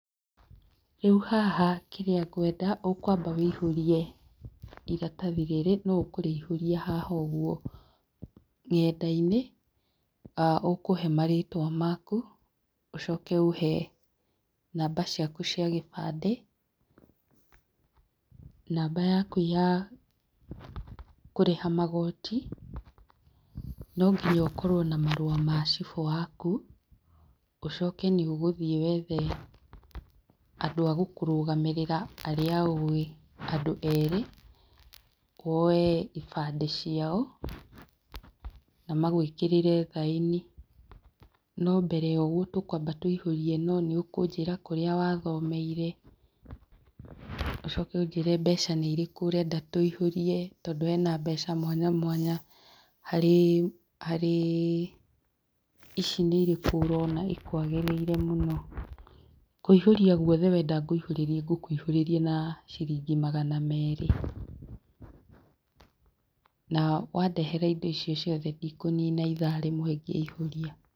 Rĩu haha kĩrĩa ngwenda ũkwamba wũiyũrie iratathi rĩrĩ no ũkũrĩihũria haha ũguo nenda-inĩ ũkũhe marĩtwa maku, ũcoke ũhe namba ciaku cia kĩbandĩ, namba yaku ya kũrĩha magoti nonginya ũkorwo na marũa ma chibũ waku, ũcoke nĩ ũgũthiĩ wethe andũ a gũkũrũgamĩrĩra arĩa ũũĩ, andũ erĩ woe ibandĩ ciao na magwĩkĩrĩre thaĩni no mbere ya ũguo tũkwamba kũiyũria ĩno nĩ ũkũnjĩra kũrĩa wathomeire, ũcoke ũnjĩre mbeca nĩ irĩkũ ũkwenda tũiyũrie tondũ hena mbeca mwanya mwanya harĩ harĩ ici nĩ irĩkũ ũrona ikwagĩrĩire mũno? Kũihũria gwothe wenda ngũiyũrĩrie, ngũkũiyũrĩria na ciringi magana merĩ, na wandehera indo ici ciothe ndikũnina itha rĩmwe ngĩiyũria.